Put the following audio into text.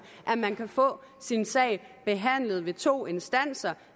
at man kan få sin sag behandlet ved to instanser